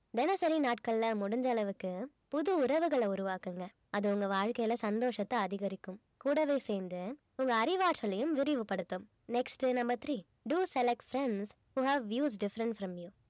தினசரி நாட்கள்ல முடிஞ்ச அளவுக்கு புது உறவுகளை உருவாக்குங்க அது உங்க வாழ்க்கையில சந்தோஷத்தை அதிகரிக்கும் கூடவே சேர்ந்து உங்க அறிவாற்றலையும் விரிவுபடுத்தும் next உ number three do selections who have views difference from you